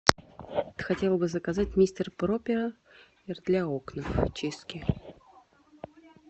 хотела бы заказать мистер пропер для окон очистки